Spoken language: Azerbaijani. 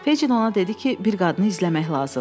Fecin ona dedi ki, bir qadını izləmək lazımdır.